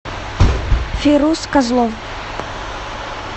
фируз козлов